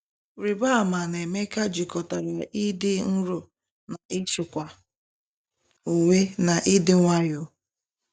Rịba ama na Emeka jikọtara ịdị nro na ịchịkwa onwe na ịdị nwayọọ.